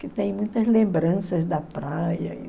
Que tem muitas lembranças da praia.